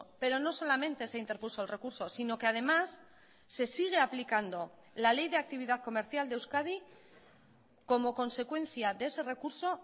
pero no solamente se interpuso el recurso sino que además se sigue aplicando la ley de actividad comercial de euskadi como consecuencia de ese recurso